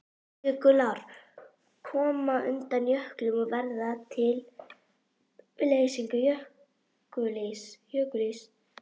Jökulár koma undan jöklum og verða til við leysingu jökulíss.